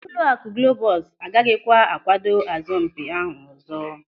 Ụlọakụ Globus a gaghịkwa a kwado asọmpi ahụ ọzọ.